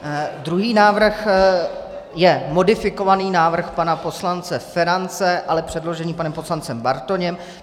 Druhý návrh je modifikovaný návrh pana poslance Ferance, ale předložený panem poslancem Bartoněm.